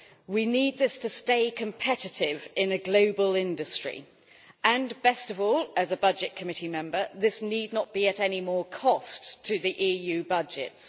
We need this to stay competitive in a global industry and, best of all as a Budget Committee member, this need not be at any more cost to the EU budgets.